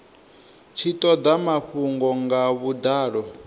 tshi toda mafhungo nga vhudalo